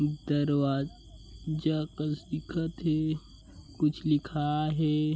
दरवाज जा कस दिखत हे कुछ लिखा हे।